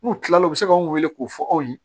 N'u kila l'o la u bɛ se ka anw weele k'o fɔ aw ye